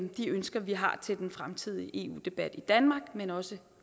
de ønsker vi har til den fremtidige eu debat i danmark men også